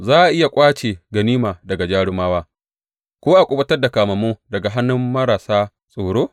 Za a iya ƙwace ganima daga jarumawa, ko a kuɓutar da kamammu daga hannun marasa tsoro?